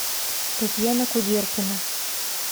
татьяна кудеркина